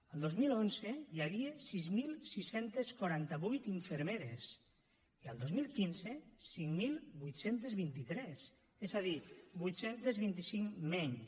el dos mil onze hi havia sis mil sis cents i quaranta vuit infermeres i el dos mil quinze cinc mil vuit cents i vint tres és a dir vuit cents i vint cinc menys